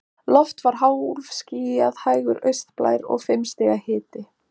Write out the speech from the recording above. Loft var hálfskýjað, hægur austanblær og fimm stiga hiti.